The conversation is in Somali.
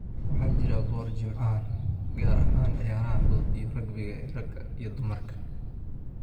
Waxaa jira boor jimcahan ah gaar ahaan ciyaaraha fudud iyo rugby ee ragga iyo dumarka.